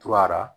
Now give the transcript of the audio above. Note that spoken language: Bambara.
Tura